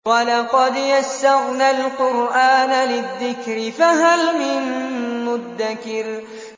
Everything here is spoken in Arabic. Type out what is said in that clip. وَلَقَدْ يَسَّرْنَا الْقُرْآنَ لِلذِّكْرِ فَهَلْ مِن مُّدَّكِرٍ